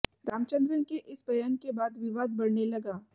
रामचंद्रन के इस बयान के बाद विवाद बढ़ने लगा